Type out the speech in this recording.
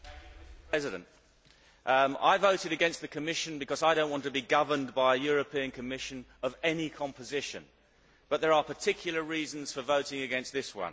Mr President, I voted against the Commission because I do not want to be governed by a European Commission of any composition, but there are particular reasons for voting against this one.